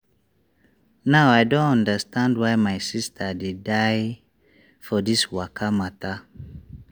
now i don understand why my sister dey die for this waka mata.